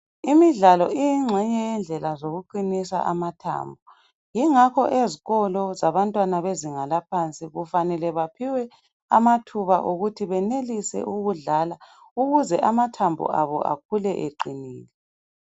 Imidlalo ingenye yendlela zokuqinisa amathambo. Yingakho ezikolo zabantwana bezinga laphansi kufanele baphiwe amathub okuthi benelise ukudlala ukuze amathombo abo bakhule eqinile.